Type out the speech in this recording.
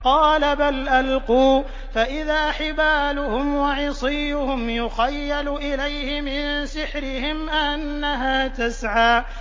قَالَ بَلْ أَلْقُوا ۖ فَإِذَا حِبَالُهُمْ وَعِصِيُّهُمْ يُخَيَّلُ إِلَيْهِ مِن سِحْرِهِمْ أَنَّهَا تَسْعَىٰ